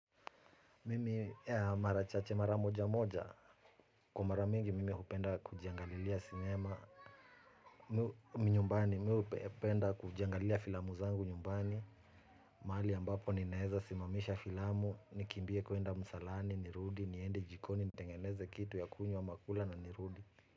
Mimi mara chache mara mojamoja, kwa mara mingi mimi hupenda kujiangalilia sinema. Minyumbani, mimi hupenda kujiangalilia filamu zangu nyumbani. Mahali ambapo ninaeza simamisha filamu, nikimbie kuenda msalani, nirudi, niende jikoni, nitengeneze kitu ya kunywa ama kula na nirudi.